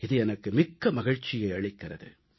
இது எனக்கு மிக்க மகிழ்ச்சியை அளிக்கிறது